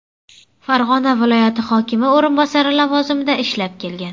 Farg‘ona viloyati hokimi o‘rinbosari lavozimida ishlab kelgan.